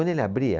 Quando ele abria,